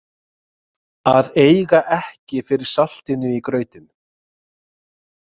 Að eiga ekki fyrir saltinu í grautinn